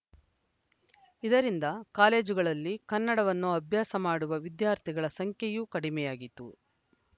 ಇದರಿಂದ ಕಾಲೇಜುಗಳಲ್ಲಿ ಕನ್ನಡವನ್ನು ಅಭ್ಯಾಸ ಮಾಡುವ ವಿದ್ಯಾರ್ಥಿಗಳ ಸಂಖ್ಯೆಯೂ ಕಡಿಮೆಯಾಯಿತು